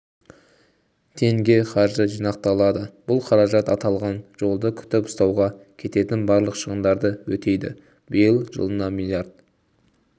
теңге қаржы жинақталады бұл қаражат аталған жолды күтіп-ұстауға кететін барлық шығындарды өтейді биыл жылына млрд